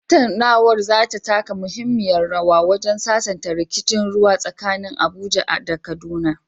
Tattaunawar za ta taka muhimmiyar rawa wajen sasanta rikicin ruwa tsakanin Abuja da Kaduna.